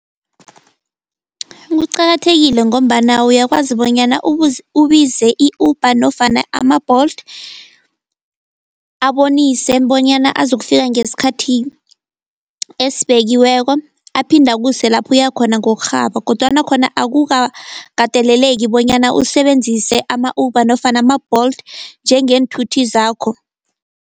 Kuqakathekile ngombana uyakwazi bonyana ubize i-Uber nofana ama-Bolt. Abonise bonyana azokufika ngeskhathi esibekiweko, aphinde akuse lapho uyakhona ngokurhaba kodwana khona akukakateleleki bonyana usebenzise ama-Uber nofana ma-Bolt njengeenthuthi zakho.